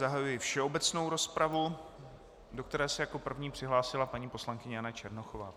Zahajuji všeobecnou rozpravu, do které se jako první přihlásila paní poslankyně Jana Černochová.